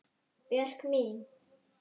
Björk mín.